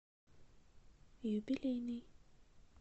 юбилейный